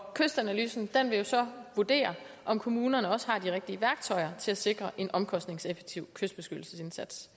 kystanalysen vil så afdække om kommunerne også har de rigtige værktøjer til at sikre en omkostningseffektiv kystbeskyttelsesindsats